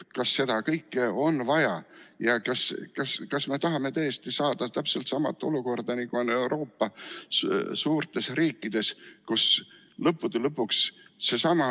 Kas seda kõike on vaja ja kas me tahame tõesti saada täpselt sama olukorda, nagu on Euroopa suurtes riikides?